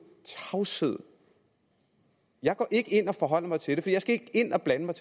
tavshed jeg går ikke ind og forholder mig til det for jeg skal ikke ind og blande mig